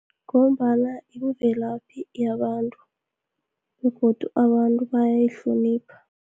Ngombana imvelaphi yabantu, begodu abantu bayayihlonipha.